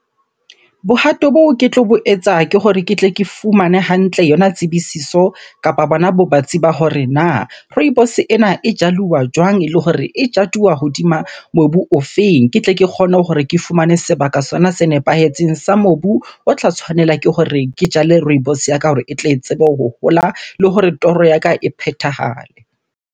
Bohato boo ke tlo bo etsa ke hore ke tle ke fumane hantle yona tsebisiso kapa bona bo batsi ba hore na rooibos ena e jaluwa jwang? Ele hore e jaduwa hodima mobu o feng? Ke tle ke kgone hore ke fumane sebaka sona se nepahetseng sa mobu o tla tshwanela ke hore ke jale rooibos ya ka hore e tle e tsebe ho hola. Le hore toro ya ka e phethahale.